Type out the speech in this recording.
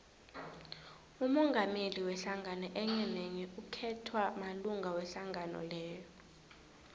umongameli wehlangano enyenenye ukhethwa malunga wehlangano leyo